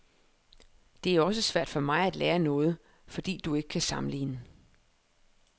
Det er også svært for mig at lære noget, fordi du ikke kan sammenligne.